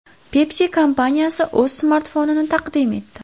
Pepsi kompaniyasi o‘z smartfonini taqdim etdi.